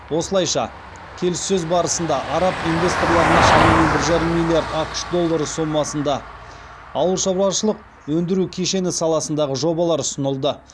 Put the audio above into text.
осылайша келіссөз барысында араб инвесторларына шамамен бір жарым миллиард ақш доллары сомасында ауыл шаруашылық өндіру кешені саласындағы жобалар ұсынылды